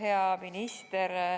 Hea minister!